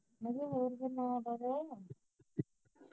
ਮੈਂ ਕਿਹਾ ਹੋਰ ਕੋਈ ਨਵਾਂ ਤਾਜਾ